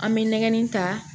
An bɛ nɛgɛnni ta